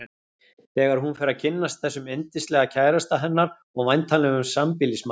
Þegar hún fer að kynnast þessum yndislega kærasta hennar og væntanlegum sambýlismanni.